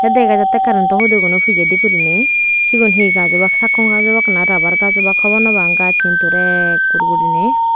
dega jatte karento hudi guno pijedi guriney sigun he gaj obak sakkon gaj obak na rubber gaj obak hobor nw pang gaj hintu ekkur guriney.